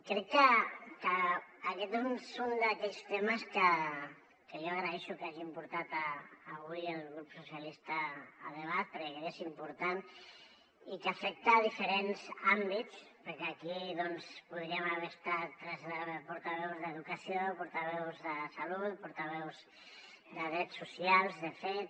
crec que aquest és un d’aquells temes que jo agraeixo que hagi portat avui el grup socialistes a debat perquè crec que és important i que afecta diferents àmbits perquè aquí hi podrien haver estat des de portaveus d’educació portaveus de salut portaveus de drets socials de fet